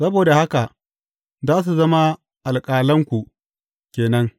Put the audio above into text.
Saboda haka, za su zama alƙalanku ke nan.